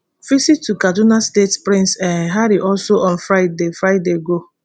visit to kaduna state prince um harry also on friday friday go